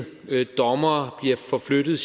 tyrkiet